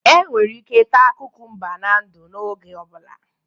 Enwere ike ita kukumba na-ndu n'oge ọ bụla.